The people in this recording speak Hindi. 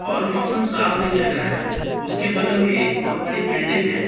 और मौसम साफ नहीं लग रहा है। उसके बगल में एक बहोत बड़ी बिल्डिंग है।